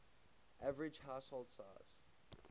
average household size